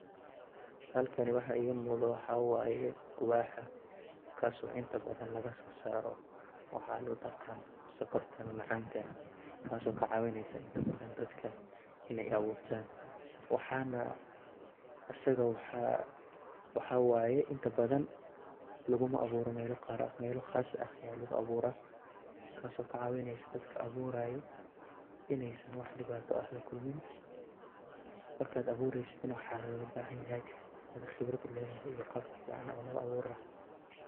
Halkani waxaa iiga muuqdaa waxaa waay quwaaxa. Kaas oo inta badan laga soo saaro waxaan u taqaan sonkorta ama macaanka. Kaas oo ka caawinaysa inta badan dadka inay abuurtaan. Waxaana asiga waxaa waxaa waay, inta badan lugu ma abuuro meelo qaar ah. Meelo khaas ah ayaa lugu abuura kaas oo ka caawinaysa dadka a buuraayo in aysan wax dhibto ah la kulmin. Marka aad a buuraysidna waxaa la gaaga bahan yahay inad khibrad u leedahay iyo qaabkii yacnaha oo loo a buuri lahaa.